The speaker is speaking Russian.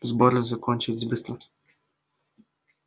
сборы закончились быстро